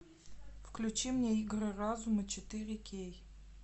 включи мне игры разума четыре кей